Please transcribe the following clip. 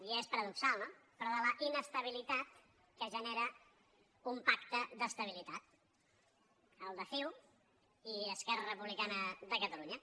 i és paradoxal no però de la inestabilitat que genera un pacte d’es·tabilitat el de ciu i esquerra republicana de cata·lunya